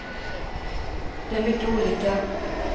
Det är mycket olika.